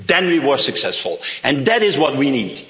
for mobile. Then we were successful, and that is what